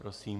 Prosím.